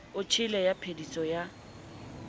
o tjhele ya phediso ya